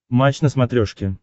матч на смотрешке